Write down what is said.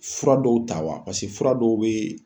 Fura dɔw ta wa paseke fura dɔw bee